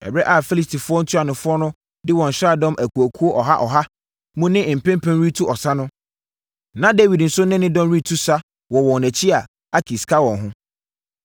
Ɛberɛ a Filistifoɔ ntuanofoɔ de wɔn nsraadɔm akuakuo ɔha ɔha mu ne mpempem retu ɔsa no, na Dawid nso ne ne dɔm retu sa wɔ wɔn akyi a, Akis ka wɔn ho.